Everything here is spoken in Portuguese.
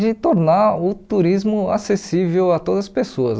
de tornar o turismo acessível a todas as pessoas.